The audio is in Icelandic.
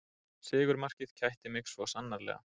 Sigurmarkið kætti mig svo sannarlega